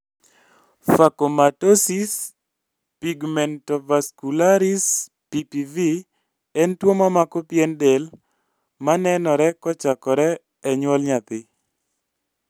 Phacomatosis pigmentovascularis(PPV) en tuo mamako pien del manenore kochakore e nyuol nyathi